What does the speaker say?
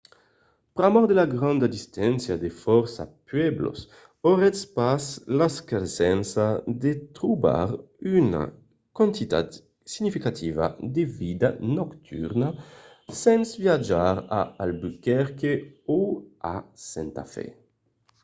pr'amor de la granda distància de fòrça pueblos auretz pas l'escasença de trobar una quantitat significativa de vida nocturna sens viatjar a albuquerque o a santa fe